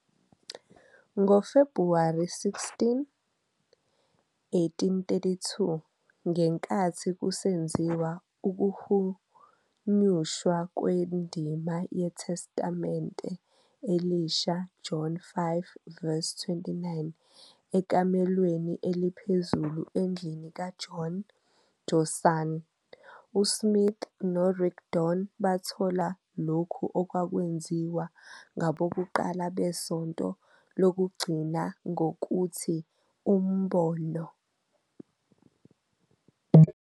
NgoFebhuwari 16, 1832, ngenkathi kusenziwa ukuhunyushwa kwendima yeTestamente Elisha John 5-29 ekamelweni eliphezulu endlini kaJohn Johnson, uSmith noRigdon bathola lokho okwakwaziwa ngabokuqala beSonto Lokugcina ngokuthi "Umbono."